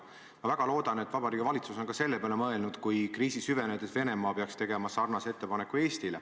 Ma väga loodan, et Vabariigi Valitsus on ka selle peale mõelnud, kui kriisi süvenedes Venemaa peaks tegema sarnase ettepaneku Eestile.